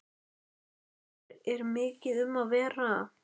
Þórhildur, er mikið um að vera?